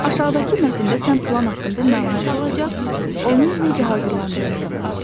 Aşağıdakı mətndə sən plan haqqında məlumat alacaq, onun necə hazırlandığını öyrənəcəksən.